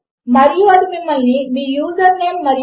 ప్రస్తుతము మనకు రెండు విలువలు లభించాయి కనుక అది ఒప్పు అవుతుంది